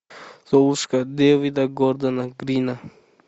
золушка дэвида гордона грина